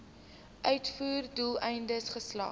uitvoer doeleindes geslag